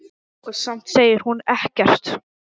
Og samt segir hún ekkert.